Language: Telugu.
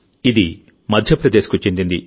ఇది మధ్యప్రదేశ్కు చెందింది